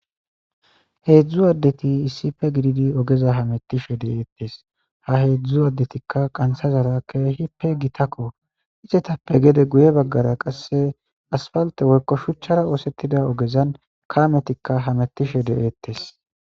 Hedzu adeti iisi pe gididi ogeza ha mettishe de'eettes ha hedzu addetikka qansazara keehi pe gitakko isetappe gede guye baggara qasse asfalte woykko shuchchara oosettida ogezan kametika ha metishe de'etes